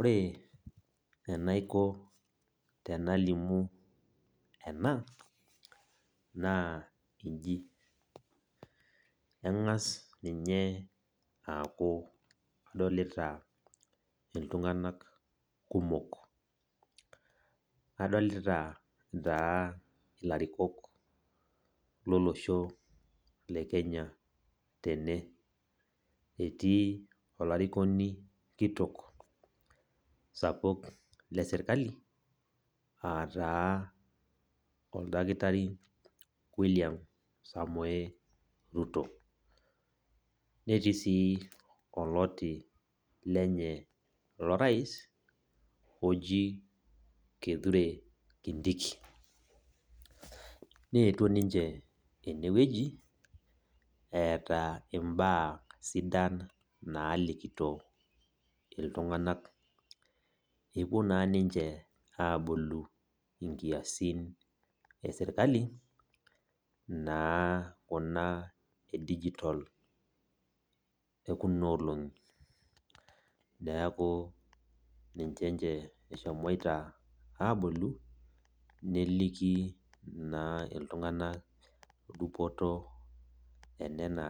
ore enaikoo pee elamu ena naa eji eng'as ninye aku edolita iltung'ana kumok adolita ilarikok loo losho le Kenya tene etii olarikoni kitok sapuk lee sirkali aa taa oldakitari William samoe Ruto netii sii olotii lenye loo rais oji kithure khindiki netuo ninche ene etaa mbaa sidan nalikito iltung'ana epuo naa niche alimu nkiasin ee sirkal oo naa Kuna ee digital ekuna olongi neeku ninche ehomoite ninche abolu neleki naa iltung'ana dupoto enana